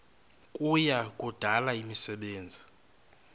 kuya kudala imisebenzi